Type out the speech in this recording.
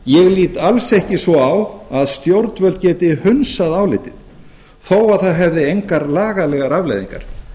ég lít alls ekki svo á að stjórnvöld geti hundsað álitið þó það hefði engar lagalegar afleiðingar